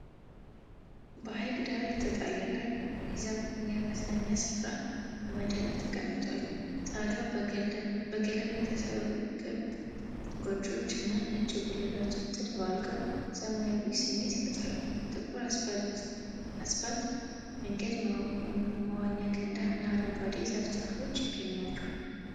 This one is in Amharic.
በሐይቅ ዳር የተንጣለለ የመዝናኛ ስፍራ በመደነቅ ተቀምጧል። ጣሪያቸው በገለባ የተሰሩ ክብ ጎጆዎች እና ነጭ ጉልላቶች ተደባልቀው ሰላማዊ ስሜት ይፈጥራሉ። ጥቁር አስፋልት መንገድ፣ መዋኛ ገንዳ እና አረንጓዴ የዛፍ ተክሎችም ይገኛሉ።